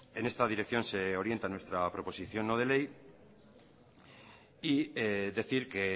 en esta dirección se orienta nuestra proposición no de ley y decir que